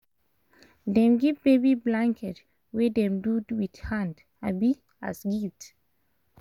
dem give baby blanket wey dem do with hand um as gift